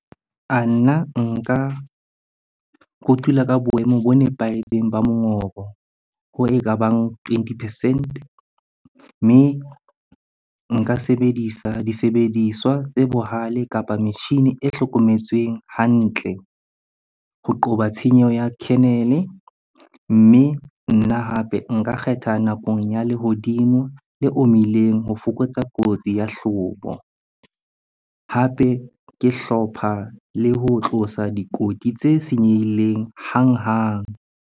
Nna nka kotula ka boemo bo nepahetseng ba mongobo, hoo ekabang twenty percent. Mme nka sebedisa disebediswa tse bohale kapa metjhine e hlokometsweng hantle ho qoba tshenyeho ya kernel-e. Mme nna hape nka kgetha nakong ya lehodimo le omileng ho fokotsa kotsi ya hlobo. Hape ke hlopha le ho tlosa dikoti tse senyehileng hanghang.